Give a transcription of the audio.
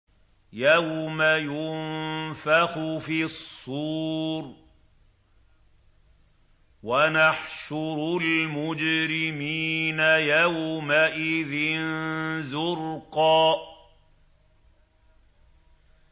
يَوْمَ يُنفَخُ فِي الصُّورِ ۚ وَنَحْشُرُ الْمُجْرِمِينَ يَوْمَئِذٍ زُرْقًا